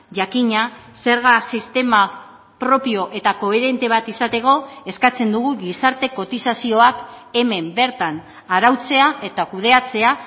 jakina zerga sistema propio eta koherente bat izateko eskatzen dugu gizarte kotizazioak hemen bertan arautzea eta kudeatzea